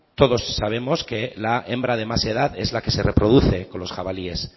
todos sabemos que la hembra de más edad es la que se reproduce con los jabalíes